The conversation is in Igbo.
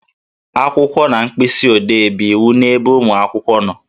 Akwụkwọ na mkpịsị odee bụ iwu n'ebe ụmụ akwụkwọ nọ